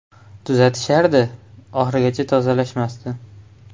Tuzatishardi, oxirigacha tozalashmasdi.